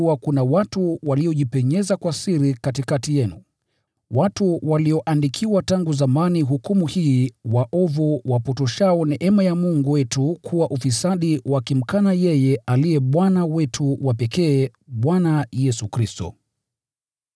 Kwa kuwa kuna watu waliojipenyeza kwa siri katikati yenu, watu walioandikiwa tangu zamani hukumu hii, waovu, wapotoshao neema ya Mungu wetu kuwa ufisadi wakimkana yeye aliye Bwana wetu wa pekee, Bwana Yesu Kristo.